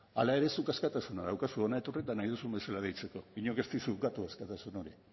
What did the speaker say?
hala ere zuk askatasuna daukazu hona etorri eta nahi duzun bezala deitzeko inork ez dizu ukatu askatasun hori